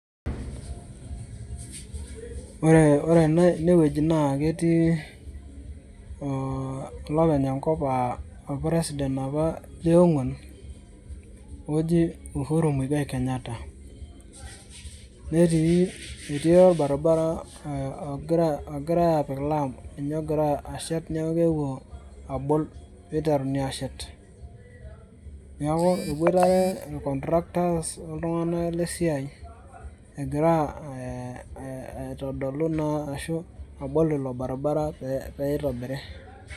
Ore ene enewueji na ketii oo olopeny enkop a or president apa leongwan oji uhuru kenyatta ,netii orbaribara ogirai apik olam ninye ogira ashet neaku keewuo abol peiterenu ashet neaku epoitare ir contracters oltunganak lesiiai enkira ee aitodolu arashu abol ilo baribara peitobiri.